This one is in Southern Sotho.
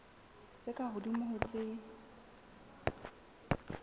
tse ka hodimo ho tse